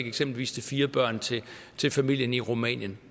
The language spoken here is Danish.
eksempelvis fire børn til til familien i rumænien